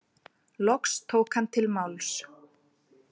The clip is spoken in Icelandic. Loks tók hann til máls.